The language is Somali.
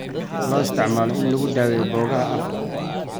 Loo isticmaalo in lagu daweeyo boogaha afka.